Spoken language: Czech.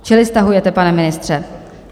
Čili stahujete, pane ministře?